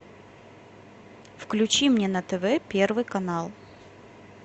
включи мне на тв первый канал